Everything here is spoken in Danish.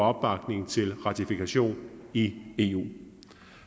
opbakning til ratifikation i eu